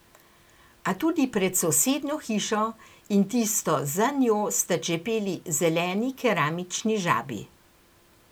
A tudi pred sosednjo hišo in tisto za njo sta čepeli zeleni keramični žabi.